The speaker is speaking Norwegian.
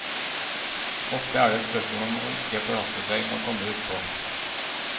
Ofte er det et spørsmål om å ikke forhaste seg med å komme utpå.